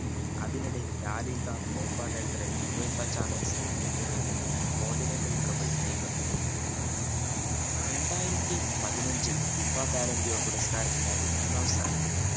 അതിനിടെ La Liga Copa del Rey എന്നിവയുടെ condinentaltrouble Neymar നേടി രണ്ടായിരത്തിപതിഞ്ഞച്ചു FIFA balanterio യോ പുരസ്കാരത്തിനായി പുരസ്കാരത്തിയി മൂന്നാം സഥാനത്ത് എത്തി